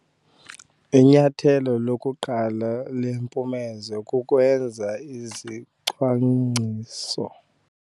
Inyathelo lokuqala lempumezo kukwenza izicwangciso.